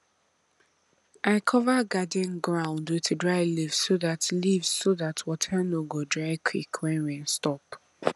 i cover garden ground with dry leaves so dat leaves so dat water no go dry quick when rain stop